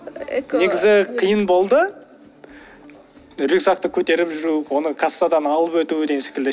негізі қиын болды рюкзакты көтеріп жүру оны кассадан алып өту деген секілді